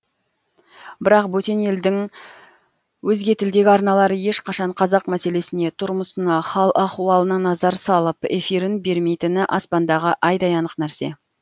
бірақ бөтен елдің өзге тілдегі арналары ешқашан қазақ мәселесіне тұрмысына хал ахуалына назар салып эфирін бермейтіні аспандағы айдай анық нәрсе